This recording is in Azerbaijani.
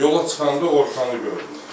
Yola çıxanda Orxanı gördüm.